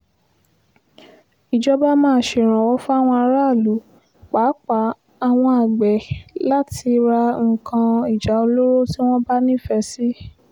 ìjọba máa ṣèrànwọ́ fáwọn aráàlú pàápàá àwọn àgbẹ̀ láti ra nǹkan ìjà olóró tí wọ́n bá nífẹ̀ẹ́ sí